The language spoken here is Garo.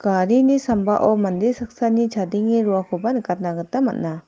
garini sambao mande saksani chadenge roakoba nikatna gita man·a.